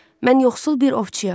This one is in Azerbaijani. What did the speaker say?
Mən yoxsul bir ovçuyam.